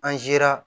An sera